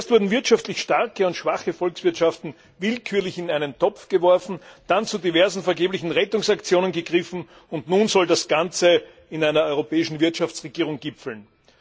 Zuerst wurden wirtschaftlich starke und schwache Volkswirtschaften willkürlich in einen Topf geworfen, dann zu diversen vergeblichen Rettungsaktionen gegriffen, und nun soll das Ganze in einer europäischen Wirtschaftsregierung gipfeln.